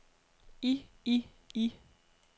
i i i